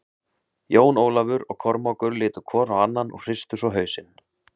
Jón Ólafur og Kormákur litu hvor á annan og hristu svo hausinn.